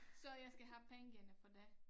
Så jeg skal have pengene for det